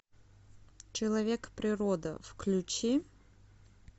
человек природа включи